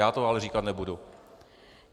Já to ale říkat nebudu.